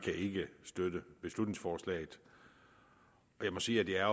ikke støtte beslutningsforslaget og jeg må sige at jeg